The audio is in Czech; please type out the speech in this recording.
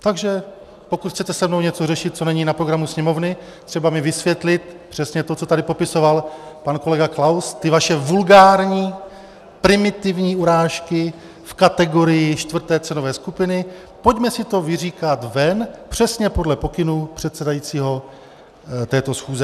Takže pokud chcete se mnou něco řešit, co není na programu Sněmovny, třeba mi vysvětlit přesně to, co tady popisoval pan kolega Klaus, ty vaše vulgární, primitivní urážky v kategorii čtvrté cenové skupiny, pojďme si to vyříkat ven, přesně podle pokynů předsedajícího této schůze.